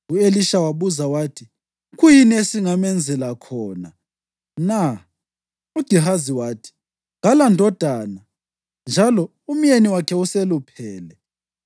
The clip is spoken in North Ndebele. U-Elisha wabuza wathi, “Kuyini esingamenzela khona na?” UGehazi wathi, “Kalandodana njalo umyeni wakhe useluphele.”